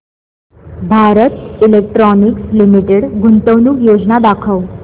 Bharat electronics limited गुंतवणूक योजना दाखव